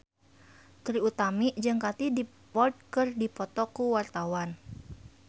Trie Utami jeung Katie Dippold keur dipoto ku wartawan